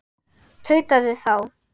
tautaði þá